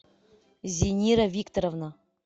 зинира викторовна